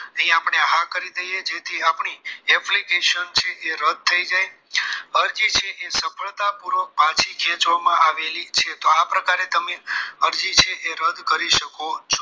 અહીં આપણે હા કરી દઈએ જેથી આપણી application છે એ રદ થઈ જાય અરજી છે એ સફળતા પૂર્વક પાછી ખેંચવામાં આવેલી છે તો આ પ્રકારે તમે અરજી છે એ રદ કરી શકો છો